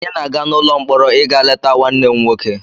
Anyị na-aga n'ụlọ mkpọrọ ịga leta nwanne m nwoke